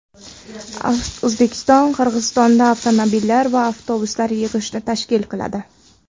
O‘zbekiston Qirg‘izistonda avtomobillar va avtobuslar yig‘ishni tashkil qiladi.